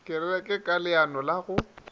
kereke ka leano la go